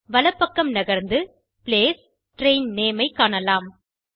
வலப்பக்கம் நகர்ந்து placeட்ரெயின் நேம் ஐ காணலாம்